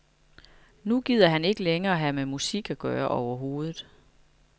Nu gider han ikke længere have med musik at gøre overhovedet.